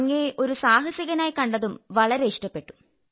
അങ്ങയെ ഒരു സാഹസികനായി കണ്ടതും വളരെ ഇഷ്ടപ്പെട്ടു